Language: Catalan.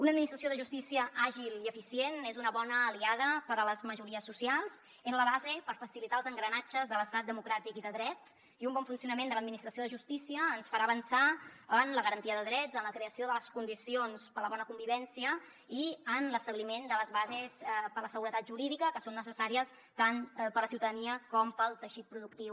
una administració de justícia àgil i eficient és una bona aliada per a les majories socials és la base per facilitar els engranatges de l’estat democràtic i de dret i un bon funcionament de l’administració de justícia ens farà avançar en la garantia de drets en la creació de les condicions per a la bona convivència i en l’establiment de les bases per a la seguretat jurídica que són necessàries tant per a la ciutadania com per al teixit productiu